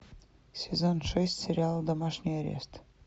сезон шесть сериал домашний арест